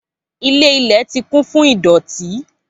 Ilé ilẹ̀ ti kún fún ìdọ̀tí